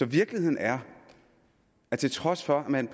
virkeligheden er at til trods for at man